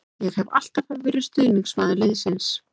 Ég hef alltaf verið stuðningsmaður liðsins.